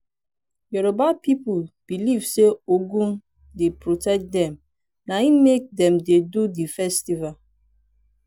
yoruba pipu beliv sey ogun dey protect dem naim make dem dey do di festival.